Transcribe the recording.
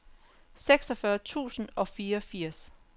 seksogfyrre tusind og fireogfirs